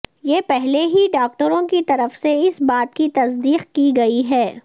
یہ پہلے ہی ڈاکٹروں کی طرف سے اس بات کی تصدیق کی گئی ہے